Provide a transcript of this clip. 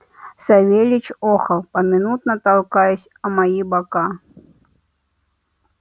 савельич охал поминутно толкаясь о мои бока